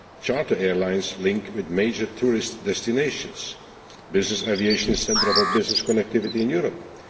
Charter airlines are linked with major tourist destinations. Business aviation is the centre of our business connectivity in Europe.